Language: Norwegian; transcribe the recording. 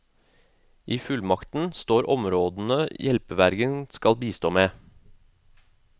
I fullmakten står områdene hjelpevergen skal bistå med.